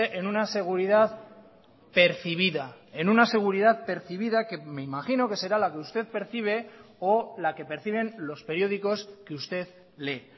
en una seguridad percibida en una seguridad percibida que me imagino que será la que usted percibe o la que perciben los periódicos que usted lee